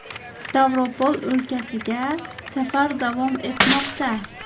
Stavropol o‘lkasiga safar davom etmoqda.